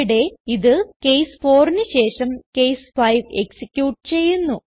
ഇവിടെ ഇത് കേസ് 4ന് ശേഷം കേസ് 5 എക്സിക്യൂട്ട് ചെയ്യുന്നു